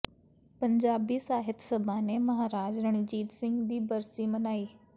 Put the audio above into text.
ਪੰਜਾਬੀ ਸਾਹਿਤ ਸਭਾ ਨੇ ਮਹਾਰਾਜਾ ਰਣਜੀਤ ਸਿੰਘ ਦੀ ਬਰਸੀ ਮਨਾਈ